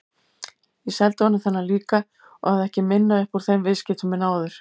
Ég seldi honum þennan líka og hafði ekki minna upp úr þeim viðskiptum en áður.